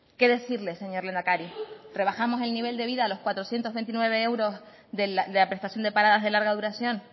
qué decirles señor lehendakari rebajamos el nivel de vida a los cuatrocientos veintinueve euros de la prestación de paradas de larga duración